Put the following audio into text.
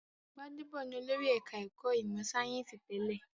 Gbádédọ̀ ni olórí ẹ̀ka-ẹ̀kọ́ ìmọ̀-sáyẹ́ńsì tẹ́lẹ̀.